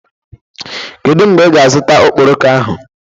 Kedu mgbe ị ga-azụta okporoko ahụ?